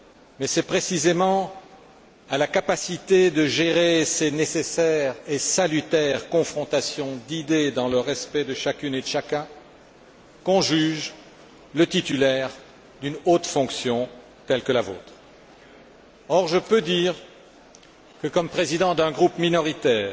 Mais c'est précisément à la capacité de gérer ces nécessaires et salutaires confrontations d'idées, dans le respect de chacune et de chacun, qu'on juge le titulaire d'une haute fonction telle que la vôtre. Or, je peux dire que, comme président d'un groupe minoritaire